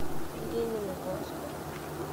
лениногорску